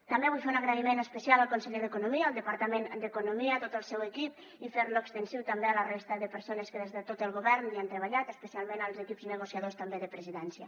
també vull fer un agraïment especial al conseller d’economia al departament d’economia a tot el seu equip i fer lo extensiu també a la resta de persones que des de tot el govern hi han treballat especialment als equips negociadors també de presidència